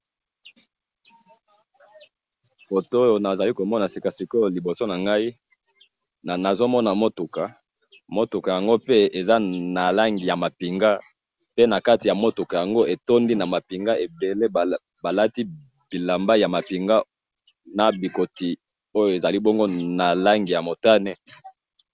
Foto oyo nazali komona sikasikoyo liboso nangayi, nazomona mutuka, mutuka yango pe eza nalangi yamapinga, pe nakati ya mutuka yango etondi namapinga ebele, balati bilamba yamapinga nabikoti oyo ezali bongo nalangi yamutane.